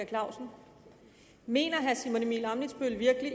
clausen mener herre simon emil ammitzbøll virkelig